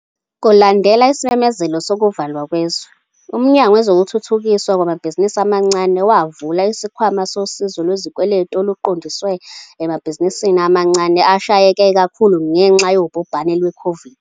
Kulandela isimemezelo sokuvalwa kwezwe, uMnyango Wezokuthuthukiswa Kwamabhizinisi Amancane wavula isikhwama sosizo lwezikweletu oluqondiswe emabhizinisini amancane ashayeke kakhulu ngenxa yobhubhane lwe-COVID-19.